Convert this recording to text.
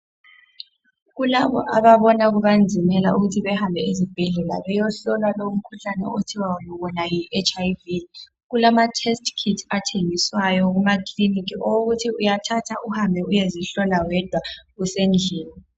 Kulabo ababona kubanzimela ukuthi behambe beyohlolwa lowa mkhuhlane othiwa wona yiHIV.Kulama'test kit" athengiswayo kumakilinika owokuthi uyathatha uhambe uyezihlola wedwa usendlini.